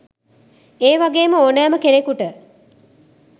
ඒ වගේම ඕනෑම කෙනකුට